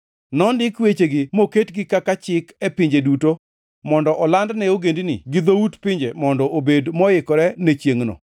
Nondik wechegi moketgi kaka chik e pinje duto mondo oland ne ogendini gi dhout pinje mondo obed moikore ne chiengʼno.